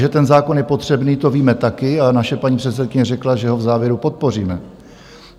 Že ten zákon je potřebný, to víme taky, ale naše paní předsedkyně řekla, že ho v závěru podpoříme.